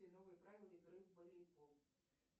новые правила игры в волейбол